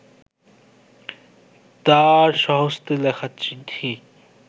তাঁর স্বহস্তে লেখা চিঠি